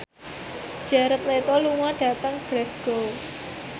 Jared Leto lunga dhateng Glasgow